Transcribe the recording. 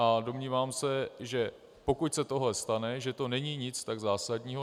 A domnívám se, že pokud se tohle stane, že to není nic tak zásadního.